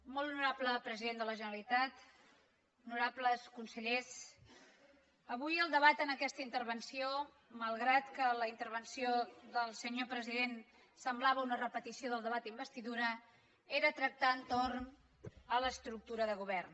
molt honorable president de la generalitat honorables consellers avui el debat en aquesta intervenció malgrat que la intervenció del senyor president semblava una repetició del debat d’investidura era tractar entorn de l’estructura del govern